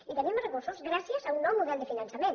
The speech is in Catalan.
i tenim més recursos gràcies a un nou model de finançament